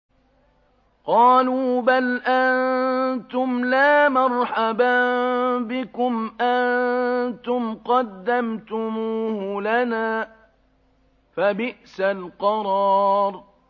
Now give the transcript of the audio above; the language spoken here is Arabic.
قَالُوا بَلْ أَنتُمْ لَا مَرْحَبًا بِكُمْ ۖ أَنتُمْ قَدَّمْتُمُوهُ لَنَا ۖ فَبِئْسَ الْقَرَارُ